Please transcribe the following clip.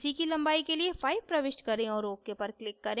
bc की लंबाई के लिए 5 प्रविष्ट करें और ok पर click करें